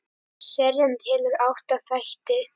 Serían telur átta þætti.